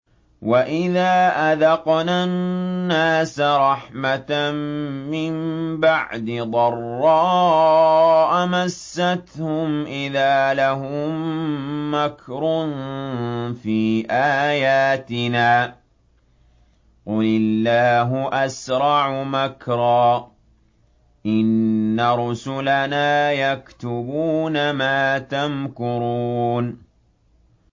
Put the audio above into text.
وَإِذَا أَذَقْنَا النَّاسَ رَحْمَةً مِّن بَعْدِ ضَرَّاءَ مَسَّتْهُمْ إِذَا لَهُم مَّكْرٌ فِي آيَاتِنَا ۚ قُلِ اللَّهُ أَسْرَعُ مَكْرًا ۚ إِنَّ رُسُلَنَا يَكْتُبُونَ مَا تَمْكُرُونَ